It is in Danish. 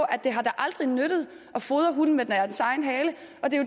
at det aldrig har nyttet at fodre hunden med dens egen hale